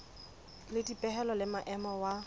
le dipehelo le maemo wa